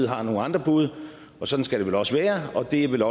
har nogle andre bud og sådan skal det vel også være og det er vel